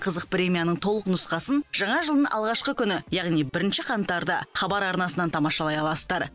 қызық премияның толық нұсқасын жаңа жылдың алғашқы күні яғни бірінші қаңтарда хабар арнасынан тамашалай аласыздар